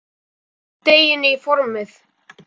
Hellið deiginu í formið.